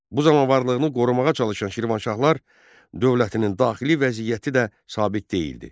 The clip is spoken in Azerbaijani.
Bu zaman varlığını qorumağa çalışan Şirvanşahlar dövlətinin daxili vəziyyəti də sabit deyildi.